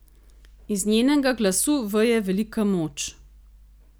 Iz njenega glasu veje velika moč.